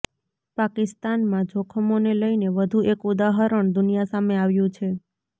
પાકિસ્તાનમાં જોખમોને લઈને વધુ એક ઉદાહરણ દુનિયા સામે આવ્યુ છે